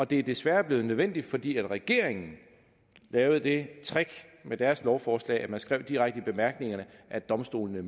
det er desværre blevet nødvendigt fordi regeringen lavede det trick med deres lovforslag at man skrev direkte i bemærkningerne at domstolene